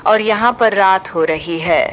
और यहां पर रात हो रही है।